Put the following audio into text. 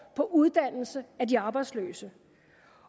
på uddannelse af de arbejdsløse